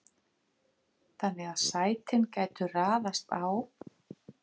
þannig gætu sætin raðast á